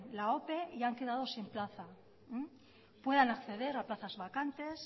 la ope y han quedado sin plaza puedan acceder a plazas vacantes